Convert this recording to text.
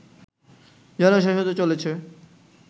যেন শেষ হতে চলেছে